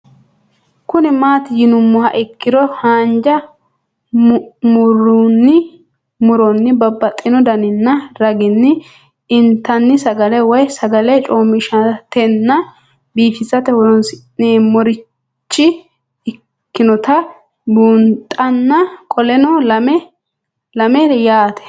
Kuni mati yinumoha ikiro hanja muroni babaxino daninina ragini intani sagale woyi sagali comishatenna bifisate horonsine'morich ikinota bunxana qoleno lame yaate